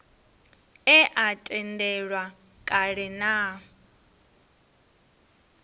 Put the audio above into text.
e a tendelwa kale na